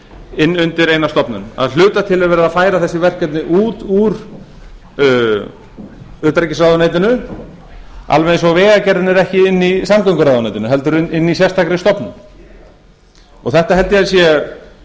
inn undir eina stofnun að hluta til er verið að færa þessi verkefni út úr utanríkisráðuneytinu alveg eins og vegagerðin er ekki inni í samgönguráðuneytinu heldur inni í sérstakri stofnun þetta held ég að sé